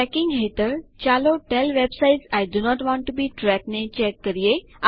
tracking હેઠળ ચાલો tell websites I do not want to be tracked ને check કરીએ